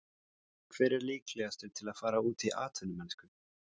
Hver er líklegastur til að fara út í atvinnumennsku?